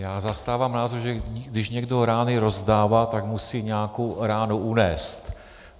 Já zastávám názor, že když někdo rány rozdává, tak musí nějakou ránu unést.